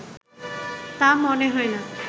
তা মনে হয় না